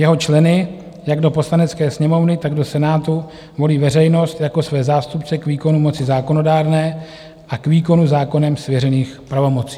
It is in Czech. Jeho členy jak do Poslanecké sněmovny, tak do Senátu volí veřejnost jako své zástupce k výkonu moci zákonodárné a k výkonu zákonem svěřených pravomocí.